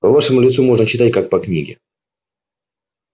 по вашему лицу можно читать как по книге